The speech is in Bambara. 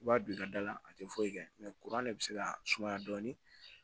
I b'a don i ka da la a tɛ foyi kɛ kuran de bɛ se ka sumaya dɔɔnin